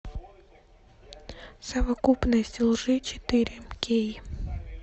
совокупность лжи четыре кей